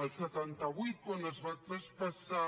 al setanta vuit quan es va traspassar